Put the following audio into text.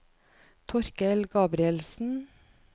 Torkel Gabrielsen